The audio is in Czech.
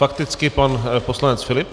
Fakticky pan poslanec Filip.